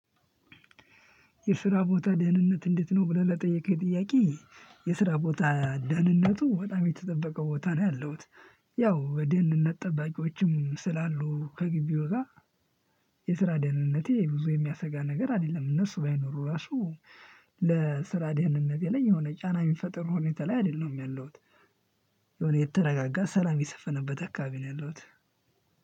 "የስራ ቦታ ደህንነት እንዴት ነው?" ብለህ ለጠየቀኝ ጥያቄ፤ የስራ ቦታ ደህንነቱ በጣም የተጠበቀው ቦታ ነው ያለውት። ያው የደህንነት ጠባቂዎችም ስላሉ ከግቢው ጋር የስራ ደህንነቴ ብዙ የሚያሰጋ ነገር አይደለም። እነሱ ባይኖሩ ራሱ ለስራ ደህንነቴ ላይ የሆነ ጫና የሚፈጥር ሁኔታ ላይ አይደለም ያለሁት። የሆነ የተረጋጋ፣ ሰላም የሰፈነበት አካባቢ ነው ያለሁት።